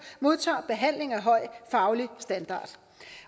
modtager behandling af høj faglig standard